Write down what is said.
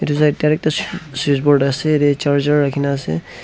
switch board ase recharger rakhe kena ase.